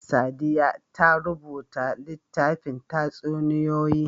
Sadiya ta rubuta littafin tatsuniyoyi.